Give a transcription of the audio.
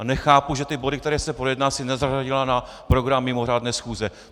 A nechápu, že ty body, které si projedná, si nezařadila na program mimořádné schůze.